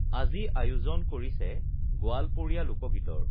আজি আয়োজন কৰিছে গোৱালপৰীয়া লোকগীতৰ